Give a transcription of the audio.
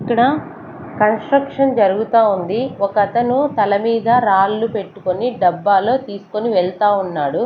ఇక్కడ కన్స్ట్రక్షన్ జరుగుతా ఉంది ఒక అతను తలమీద రాళ్ళు పెట్టుకొని డబ్బాలో తీసుకొని వెళ్తా ఉన్నాడు.